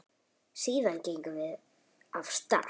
Síðan gengum við af stað.